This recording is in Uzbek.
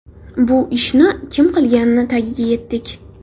Bu ishni kim qilganini tagiga yetdik.